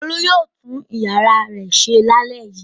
Olú yóò tún ìyàrá rẹ̀ ṣe lálẹ́ yìí.